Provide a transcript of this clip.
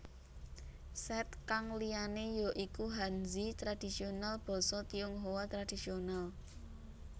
Set kang liyane ya iku Hanzi tradisional Basa Tionghoa Tradisional